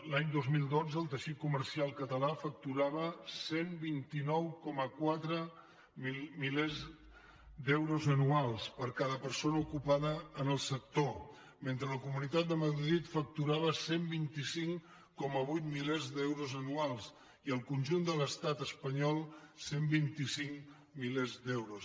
l’any dos mil dotze el teixit comercial català facturava cent i vint nou coma quatre milers d’euros anuals per cada persona ocupada en el sector mentre la comunitat de madrid facturava cent i vint cinc coma vuit milers d’euros anuals i el conjunt de l’estat espanyol cent i vint cinc milers d’euros